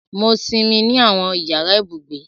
Mo sinmi ni awọn yara ibugbe.